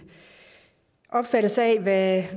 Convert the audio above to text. opfattelse af